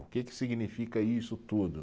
O que que significa isso tudo.